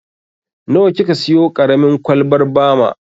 Nawa ki ka siyo ƙaramin kwalbar bama?